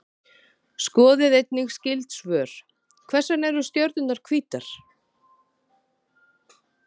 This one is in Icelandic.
Skoðið einnig skyld svör: Hvers vegna eru stjörnurnar hvítar?